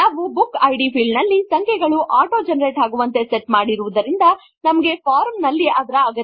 ನಾವು book ID field ನಲ್ಲಿ ಸಂಖ್ಯೆಗಳು ಆಟೋ ಜೆನರೇಟ್ ಆಗುವಂತೆ ಸೆಟ್ ಮಾಡಿರುವುದರಿಂದ ನಮಗೆ ಫಾರ್ಮ್ ನಲ್ಲಿ ಅದರ ಅಗತ್ಯವಿಲ್ಲ